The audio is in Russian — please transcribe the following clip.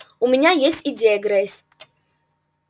у меня есть идея грейс